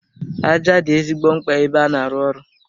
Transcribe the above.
Aja dị ezigbo mkpa ebe a na-arụ ụlọ.